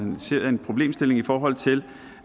ser en problemstilling i forhold til